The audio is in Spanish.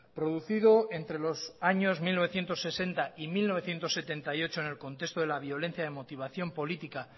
producido entre los años mil novecientos sesenta y mil novecientos setenta y ocho en el contexto de la violencia de motivación política